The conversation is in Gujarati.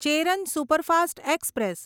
Cheran superfast express